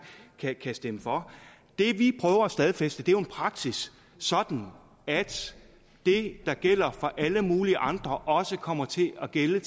kan stemme for det vi prøver at stadfæste er jo en praksis sådan at det der gælder for alle mulige andre også kommer til at gælde